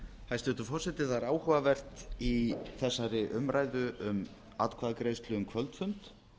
hæstvirtur forseti það er áhugavert í þessari umræðu um atkvæðagreiðslu um kvöldfund